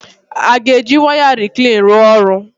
A ga-eji waya reclean rụọ ọrụ?